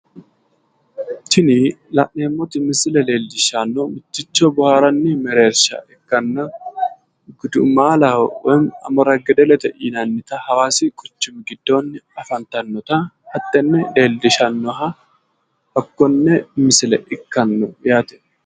Tini la'neemmoti misile leellishshannohu mitticho boohaarranni mereersha ikkanna gudumaalaho woyimmi amora gedelete yinannita hawaasi quchuchi giddoonni afantannota hattenne leellishannoha hakkonne misile ikkanno yaate.